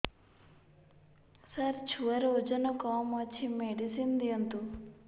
ସାର ଛୁଆର ଓଜନ କମ ଅଛି ମେଡିସିନ ଦିଅନ୍ତୁ